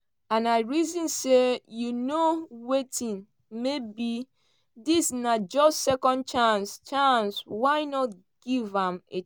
and i reason say you know wetin maybe dis na just second chance chance why not give am a try?